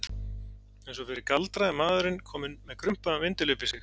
Og eins og fyrir galdra er maðurinn kominn með krumpaðan vindil upp í sig.